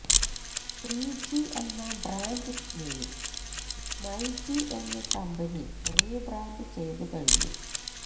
three G എന്ന brand name myG എന്ന് company rebrand ചെയ്തുകഴിഞ്ഞു